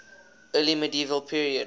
early medieval period